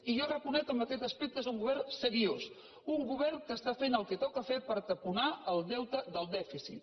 i jo reconec que en aquest aspecte és un govern seriós un govern que fa el que toca fer per taponar el deute del dèficit